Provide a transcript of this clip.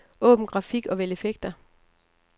Åbn grafik og vælg effekter.